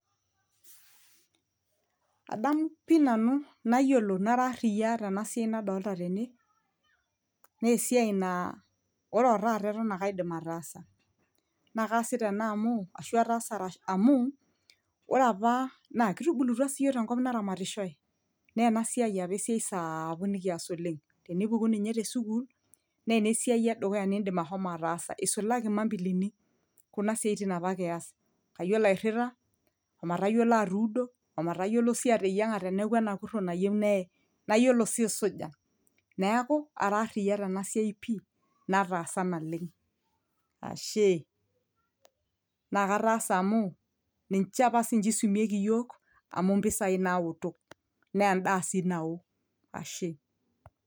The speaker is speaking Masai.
adamu pii nanu nayiolo nara arriyia tena siai nadolta tene nesiai naa ore otaata eton ake aidim ataasa naa kaasita ena amu ashu ataasa amu ore apa naa kitubulutua siyiok tenkop naramatishoe naa ena siai apa esiai sapuk nikias oleng tenipuku ninye tesukul neena esiai edukuya nindim ahomo ataasa isulaki imambilini kuna siaitin apa kiyas kayiolo airrita omatayiolo atuudo omatayiolo sii ateyieng'a teneeku enakurro nayieu neye nayiolo sii aisuja neeku ara arriyia tena siai pii nataasa naleng ashe naa kataasa amu ninche apa sinche isumieki iyiok amu impisai naoto naa endaa sii nao ashe.